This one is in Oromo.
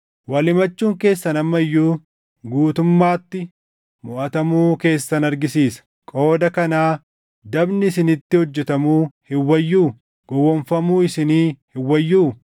Wal himachuun keessan amma iyyuu guutumaatti moʼatamuu keessan argisiisa. Qooda kanaa dabni isinitti hojjetamuu hin wayyuu? Gowwoomfamuu isinii hin wayyuu?